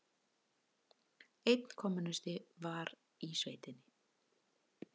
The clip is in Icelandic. Einn kommúnisti var í sveitinni.